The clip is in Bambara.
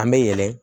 An bɛ yɛlɛ